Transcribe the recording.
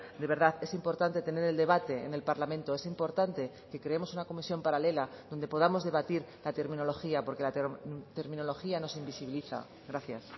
de verdad es importante tener el debate en el parlamento es importante que creemos una comisión paralela donde podamos debatir la terminología porque la terminología nos invisibiliza gracias